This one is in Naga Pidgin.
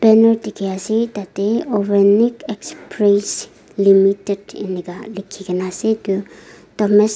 tiki ase tate overnite express limited enaka liki kina ase etu.